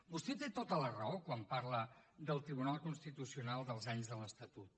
vostè té tota la raó quan parla del tribunal constitucional dels anys de l’estatut